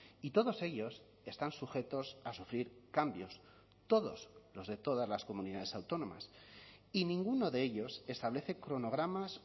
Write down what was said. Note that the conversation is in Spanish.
y todos ellos están sujetos a sufrir cambios todos los de todas las comunidades autónomas y ninguno de ellos establece cronogramas